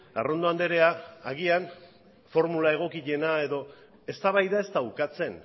arrondo andrea agian formula egokiena edo eztabaida ez da ukatzen